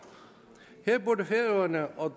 her burde færøerne og